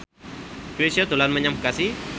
Chrisye dolan menyang Bekasi